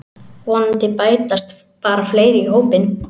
Vonandi bætast bara fleiri í hópinn